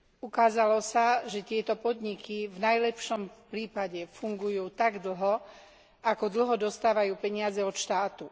Ukázalo sa, že tieto podniky v najlepšom prípade fungujú tak dlho, ako dlho dostávajú peniaze od štátu.